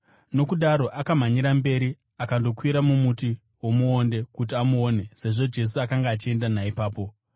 Nokudaro akamhanyira mberi akandokwira mumuti womuonde kuti amuone, sezvo Jesu akanga achienda naipapo.